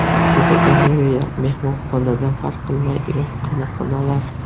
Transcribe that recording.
Fotogalereya: Mehmonxonadan farq qilmaydigan qamoqxonalar.